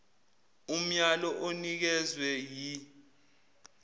umyalo onikezwe yi